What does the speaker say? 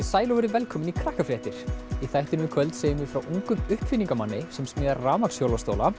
sæl og verið velkomin í Krakkafréttir í þættinum í kvöld segjum við frá ungum uppfinningamanni sem smíðar